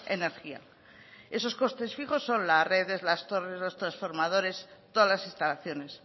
energía esos costes fijos son las redes las torres los transformadores todas las instalaciones